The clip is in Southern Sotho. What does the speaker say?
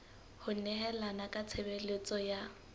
ho nehelana ka tshebeletso ya